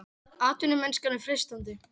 Atvinnumennskan er freistandi